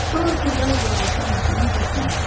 Sonra Turğay uzaqlaşan maşının səsini eşitdi.